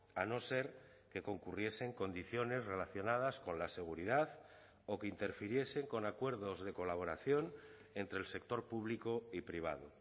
a no ser que concurriesen condiciones relacionadas con la seguridad o que interfiriesen con acuerdos de colaboración entre el sector público y privado